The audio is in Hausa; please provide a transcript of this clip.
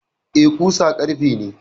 Eh, ƙusa ƙarfe ne.